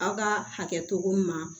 Aw ka hakɛ togo min ma